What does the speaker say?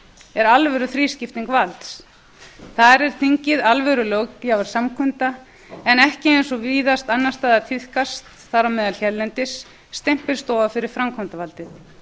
er alvöru þrískipting valds þar er þingið alvöru löggjafarsamkunda en ekki eins og víðast annars staðar tíðkast þar á meðal hérlendis stimpilstofa fyrir framkvæmdarvaldið